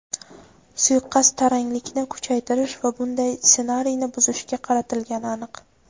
Suiqasd taranglikni kuchaytirish va bunday ssenariyni buzishga qaratilgani aniq.